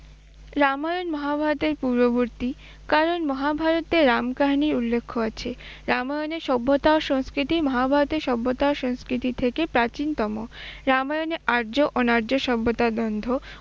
রামায়ণ মহাভারতের পূর্ববতী, কারণ মহাভারতে রাম কাহিনীর উল্লেখ্য আছে। রামায়ণের সভ্যতা ও সংস্কৃতি মহাভারতের সভ্যতা ও সংস্কৃতির থেকে প্রাচীনতম। রামায়ণে আর্য অনার্য সভ্যতা দ্বন্দ্ব